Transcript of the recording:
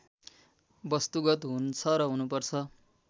वस्तुगत हुन्छ र हुनुपर्छ